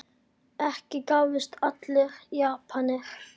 Ekki gáfust allir Japanir upp.